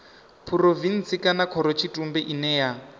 phurovintsi kana khorotshitumbe ine ya